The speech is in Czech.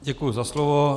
Děkuju za slovo.